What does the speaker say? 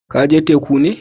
Ka je teku ne?